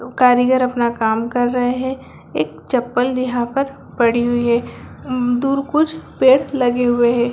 दो कारीगर अपना काम कर रहे है एक चप्पल यहाँ पर पड़ी हुई हैं दूर कुछ पेड़ लगे हुए हैं।